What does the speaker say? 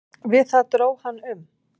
Við það dró hann um.